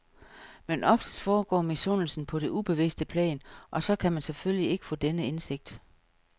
Men oftest foregår misundelsen på det ubevidste plan, og så kan man selvfølgelig ikke få denne indsigt.